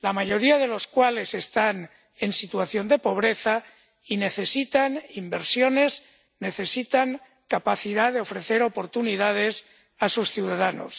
la mayoría de los cuales están en situación de pobreza y necesitan inversiones, necesitan capacidad de ofrecer oportunidades a sus ciudadanos.